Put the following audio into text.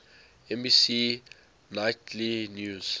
nbc nightly news